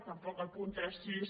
tampoc al punt trenta sis